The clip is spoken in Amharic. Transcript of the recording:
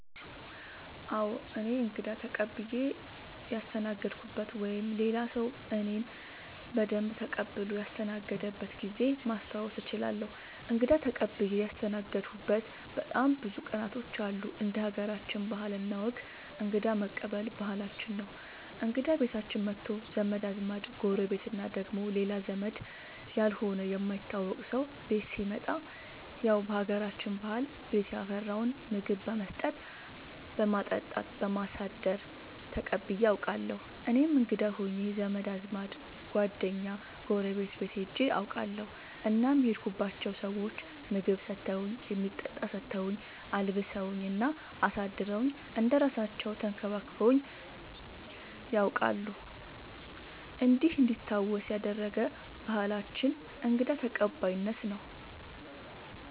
አዎ እኔ እንግዳ ተቀብየ ያስተናገድኩበት ወይም ሌላ ሰዉ እኔን በደንብ ተቀብሎ ያስተናገደበት ጊዜ ማስታወስ እችላለሁ። እንግዳ ተቀብዬ ያስተናገድሁበት በጣም ብዙ ቀናቶች አሉ እንደ ሀገራችን ባህል እና ወግ እንግዳ መቀበል ባህላችን ነው እንግዳ ቤታችን መቶ ዘመድ አዝማድ ጎረቤት እና ደግሞ ሌላ ዘመድ ያልሆነ የማይታወቅ ሰው ቤት ሲመጣ ያው በሀገራችን ባህል ቤት ያፈራውን ምግብ በመስጠት በማጠጣት በማሳደር ተቀብዬ አውቃለሁ። እኔም እንግዳ ሆኜ ዘመድ አዝማድ ጓደኛ ጎረቤት ቤት ሄጄ አውቃለሁ እናም የሄድኩባቸው ሰዎች ምግብ ሰተውኝ የሚጠጣ ሰተውኝ አልብሰውኝ እና አሳድረውኝ እንደ እራሳለው ተንከባክበውኝ ነያውቃሉ እንዲህ እንዲታወስ ያደረገ ባህላችንን እንግዳ ተቀባይነት ነው።